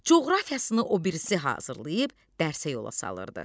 Coğrafiyasını o birisi hazırlayıb dərsə yola salırdı.